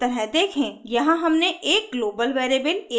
यहाँ हमने एक ग्लोबल वेरिएबल a घोषित किया है